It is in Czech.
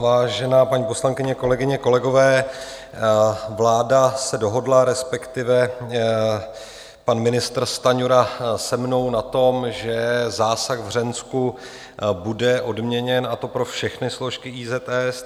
Vážená paní poslankyně, kolegyně, kolegové, vláda se dohodla, respektive pan ministr Stanjura se mnou, na tom, že zásah v Hřensku bude odměněn, a to pro všechny složky IZS.